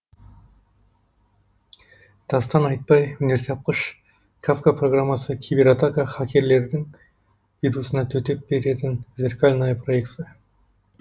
дастан айтбай өнертапқыш кафка программасы кибератака хакерлердің вирусына төтеп беретін зеркальное проекция